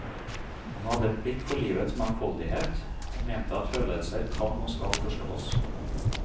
Han hadde blikk for livets mangfoldighet, og mente at følelser kan og skal forstås.